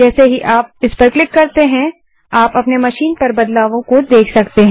जैसे ही आप क्लिक करते हैं आप अपनी मशीन पर बदलावों को देख सकते हैं